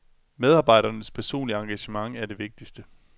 Medarbejdernes personlige engagement er det vigtigste.